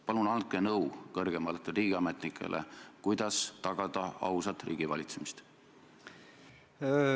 Palun andke kõrgematele riigiametnikele nõu, kuidas tagada ausat riigivalitsemist!